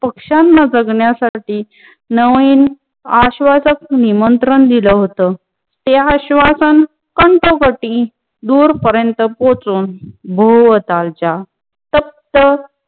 पक्षांना जगण्यासाठी नवीन आश्वासक निमंत्रण दिल होत ते आश्वासन कंठपटी दूरपर्यंत पोहोचून भोवतालच्या फक्त